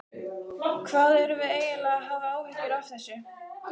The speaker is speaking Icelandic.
Hvað erum við eiginlega að hafa áhyggjur af þessu?